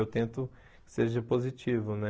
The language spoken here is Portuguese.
Eu tento que seja positivo, né?